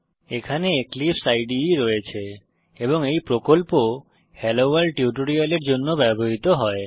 এখানে এক্লিপসে ইদে রয়েছে এবং এই প্রকল্প হেলোভোর্ল্ড টিউটোরিয়ালের জন্য ব্যবহৃত হয়